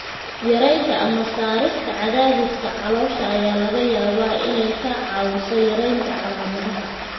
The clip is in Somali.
Yaraynta (ama saarista) cadaadiska caloosha ayaa laga yaabaa inay kaa caawiso yaraynta calaamadaha.